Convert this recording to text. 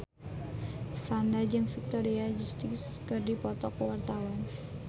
Franda jeung Victoria Justice keur dipoto ku wartawan